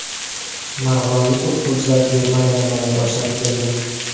Marg‘ilonlik o‘qituvchilar Germaniyada malaka oshirib keldi.